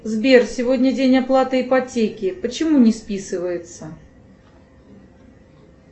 сбер сегодня день оплаты ипотеки почему не списывается